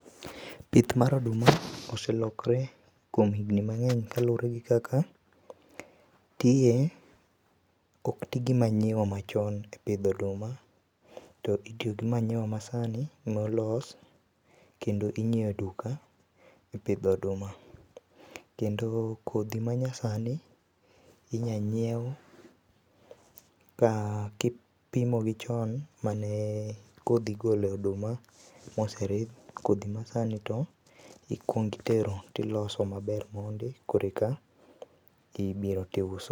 Pith mar oduma oselokre kuom higni mangeny kaluore gi kaka, tiye ok tii gi manyiwa machon e pidho oduma to itiyo gi manyiwa masani molos kendo inyiew e duka e pidho oduma. Kendo kodhi manyasani inya nyiew ka, ka. ipimo gi chon ma kodhi igolo e oduma moseridh, kodhi masani to ikuong itero tiloso maber mondi koreka ibiro tiuso